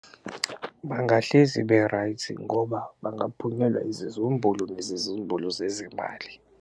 Bangahlezi be-right ngoba bangaphunyelwa izizumbulu nezizumbulu zezimali.